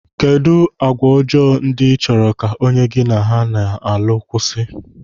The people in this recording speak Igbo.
Kedụ agwa ọjọọ ndị ịchọrọ ka onye gị na ya na-alụ kwụsị?